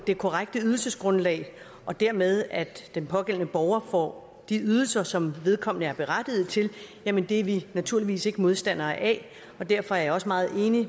det korrekte ydelsesgrundlag og dermed at den pågældende borger får de ydelser som vedkommende er berettiget til jamen det er vi naturligvis ikke modstandere af og derfor er jeg også meget enig